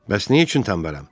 Bəs nə üçün tənbələm?